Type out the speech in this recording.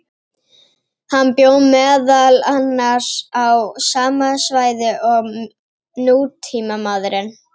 Hann bjó meðal annars á sama svæði og nútímamaðurinn.